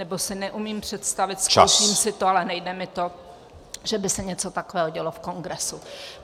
Nebo si neumím představit - zkusím si to, ale nejde mi to -, že by se něco takového dělo v Kongresu.